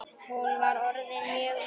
Hún var orðin mjög veik.